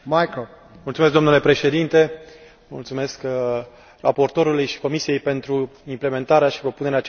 Domnule președinte, mulțumesc raportorului și comisiei pentru implementarea și propunerea acestui proiect.